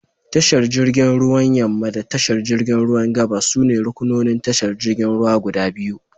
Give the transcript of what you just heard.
Tashar jirgin ruwan yamma da tashar jirgin ruwan gabas sune ruƙunonin tashar jirgin ruwa guda biyu.